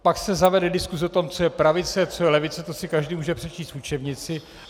Pak se zavede diskuse o tom, co je pravice, co je levice, to si každý může přečíst v učebnici.